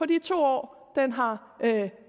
de to år den har